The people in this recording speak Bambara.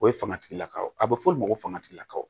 O ye fanga tigilakaw a bɛ fɔ olu ma ko fangatigilakaw